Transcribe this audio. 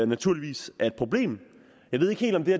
naturligvis er et problem jeg ved ikke helt om det